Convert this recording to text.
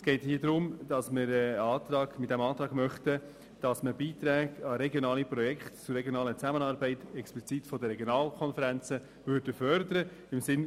Mit diesem Antrag möchten wir im Sinne eines Anreizes, dass Beiträge an regionale Projekte zur regionalen Zusammenarbeit explizit von den Regionalkonferenzen gefördert werden.